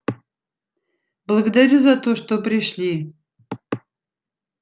благодарю за то что пришли